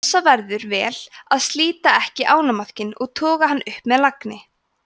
passa verður vel að slíta ekki ánamaðkinn og toga hann upp með lagni